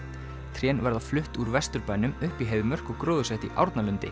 trén verða flutt úr Vesturbænum upp í Heiðmörk og gróðursett í